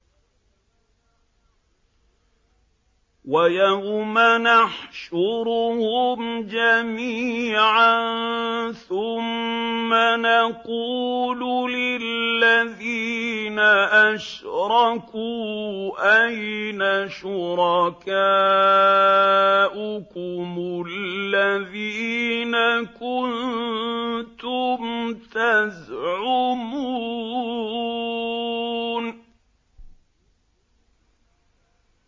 وَيَوْمَ نَحْشُرُهُمْ جَمِيعًا ثُمَّ نَقُولُ لِلَّذِينَ أَشْرَكُوا أَيْنَ شُرَكَاؤُكُمُ الَّذِينَ كُنتُمْ تَزْعُمُونَ